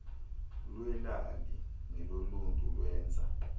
lweelali neloluntu lwenza